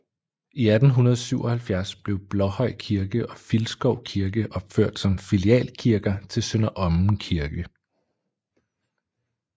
I 1877 blev Blåhøj Kirke og Filskov Kirke opført som filialkirker til Sønder Omme Kirke